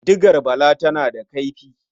Digar Bala tana da kaifi.